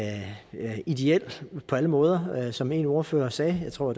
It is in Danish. ideel på alle måder som en af ordførerne sagde jeg tror